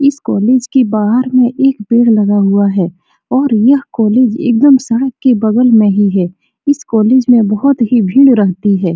इस कॉलेज के बाहर में एक पेड़ लगा हुआ है और यह कॉलेज एकदम सड़क के बगल में ही है | इस कॉलेज में बहुत ही भीड़ रहती है।